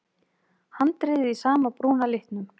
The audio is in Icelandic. Handriðið í sama brúna litnum.